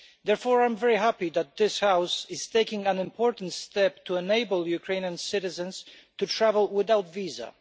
Therefore, I am very happy that this House is taking an important step to enable Ukrainian citizens to travel without visa.